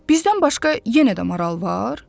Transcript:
Bizdən başqa yenə də maral var?